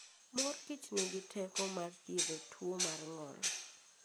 Mor Kichnigi teko mar thiedho tuwo mar ng'ol.